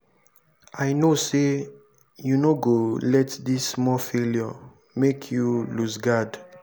i know sey you no go let dis small failure make you loose guard.